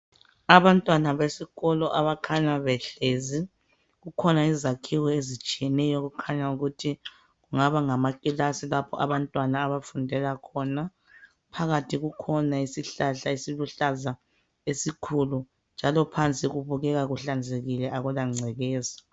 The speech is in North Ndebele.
Abantwana besikolo abakhanya behlezi. Kukhona izakhiwo ezitshiyeneyo okukhanya ukuthi kungaba ngamakilasi lapho abantwana abafundela khona. Phakathi kukhona isihlahla esiluhlaza esikhulu njalo phansi kubukeka kuhlanzekile, akulangcekeza.